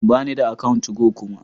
Bani da account 2go kuma